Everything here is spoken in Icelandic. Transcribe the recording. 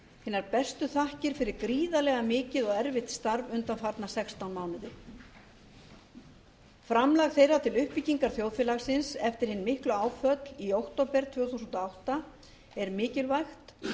hinar bestu þakkir fyrir gríðarlega mikið og erfitt starf undanfarna sextán mánuði framlag þeirra til uppbyggingar þjóðfélagsins eftir hin miklu áföll í október tvö þúsund og átta er mikilvægt